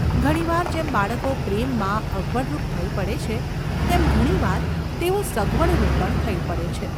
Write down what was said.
ઘણી વાર જેમ બાળકો પ્રેમમાં અગવડરૂપ થઈ પડે છે તેમ ઘણી વાર તેઓ સગવડરૂપ પણ થઈ પડે છે.